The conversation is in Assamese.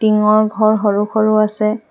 টিঙৰ ঘৰ সৰু সৰু আছে।